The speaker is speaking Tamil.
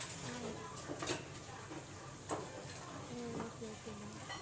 Yeah Yes ma'am hmm okay okay ma'am